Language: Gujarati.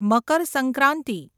મકર સંક્રાંતિ